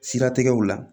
Siratigɛw la